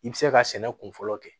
I bɛ se ka sɛnɛ kun fɔlɔ kɛ